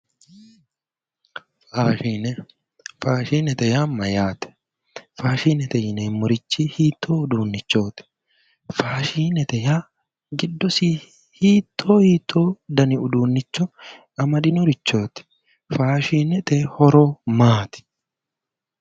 Faashine, faashinete yaa mayate, faashinete yineemmo uduunichi hiitto uduunichoti ,faashinete yineemmori hitto hitto danni uduunicho amadinoreti, faashinete horo maati ?